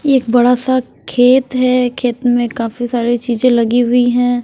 एक बड़ा सा खेत है खेत में काफी सारी चीजें लगी हुई हैं।